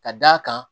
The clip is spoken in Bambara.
Ka d'a kan